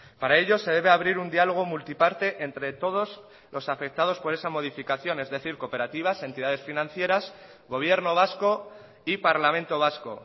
para ello se debe abrir un diálogo multiparte entre todos los afectados por esa modificación es decir cooperativas entidades financieras gobierno vasco y parlamento vasco